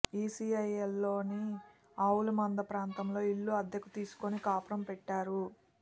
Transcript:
ఈసీఐఎల్లోని ఆవులమంద ప్రాంతంలో ఇల్లు అద్దెకు తీసుకుని కాపురం పెట్టారు